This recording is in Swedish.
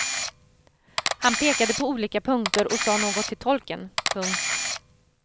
Han pekade på olika punkter och sa något till tolken. punkt